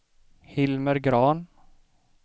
Hilmer Grahn